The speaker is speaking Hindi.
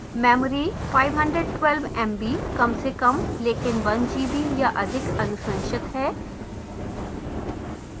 memory: 512mb कम से कम लेकिन 1gb या अधिक अनुशंसित है